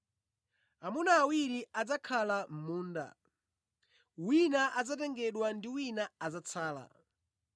Amuna awiri adzakhala mʼmunda; wina adzatengedwa ndi wina adzatsala.